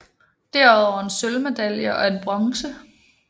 Derudover en sølvmedalje og en bronze